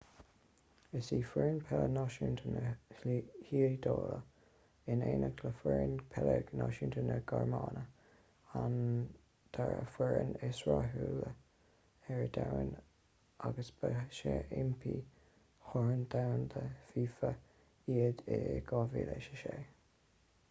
is í foireann peile náisiúnta na hiodáile in éineacht le foireann peile náisiúnta na gearmáine an dara foireann is rathúla ar domhan agus ba seaimpíní chorn domhanda fifa iad i 2006